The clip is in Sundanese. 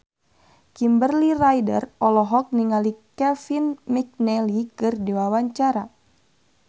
Kimberly Ryder olohok ningali Kevin McNally keur diwawancara